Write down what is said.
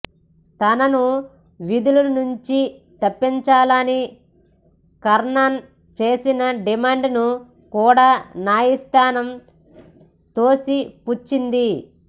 తనను విధుల నుంచి తప్పించాలని కర్ణన్ చేసిన డిమాండ్ను కూడా న్యాయస్థానం తోసిపుచ్చింది